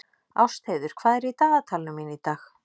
Ástheiður, hvað er í dagatalinu mínu í dag?